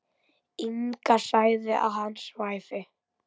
Inga sagði að hann svæfi.